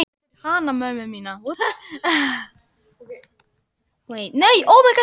Við fórum úr stígvélunum og reimuðum á okkur skóna.